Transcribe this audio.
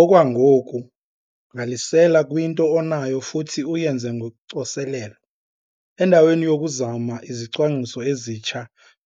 Okwangoku gqalisela kwinto onayo futhi uyenze ngocoselelo. Endaweni yokuzama izicwangciso ezitsha